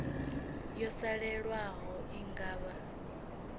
yo salelaho i nga vha